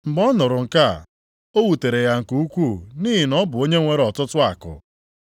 Mgbe ọ nụrụ nke a, o wutere ya nke ukwuu, nʼihi na ọ bụ onye nwere ọtụtụ akụ.